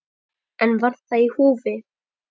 En var það í húfi?